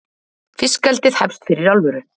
Fiskeldið hefst fyrir alvöru